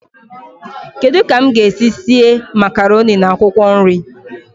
Kedu ka m ga-esi síé makaroni na akwụkwọ nri?